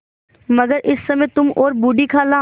मगर इस समय तुम और बूढ़ी खाला